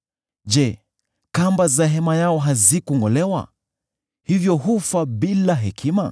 Je, kamba za hema yao hazikungʼolewa, hivyo hufa bila hekima?’